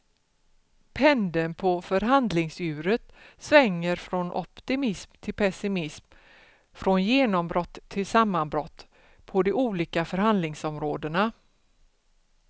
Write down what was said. Pendeln på förhandlingsuret svänger från optimism till pessimism, från genombrott till sammanbrott på de olika förhandlingsområdena.